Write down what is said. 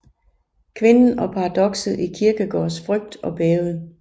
Kvinden og paradokset i Kierkegaards Frygt og Bæven